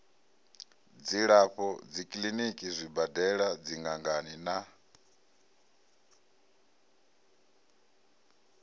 dzilafho dzikiḽiniki zwibadela dziṅangani na